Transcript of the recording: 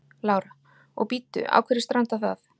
Lára: Og bíddu, á hverju strandar það?